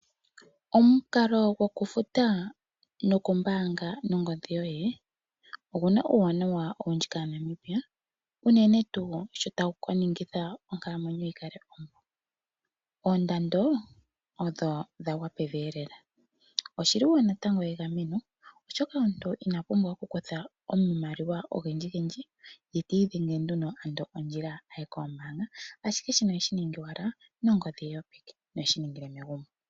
Omukalo gokufuta nokumbanga nongodhi yoye oguna uuwanawa owundji kaNamibia unene tu shotawu kuningitha onkalamwenyo yi kale ompu, oondando odho dhagwa pevi elela. Oshiliwo natango egameno oshoka omuntu ina pumbwa okukutha omamaliwa ogendji gendji ye ti idhenge ano ondjila aye kombanga ashike shino oheshi ningi owala nongodhi yopeke noheshi ningile megumbo.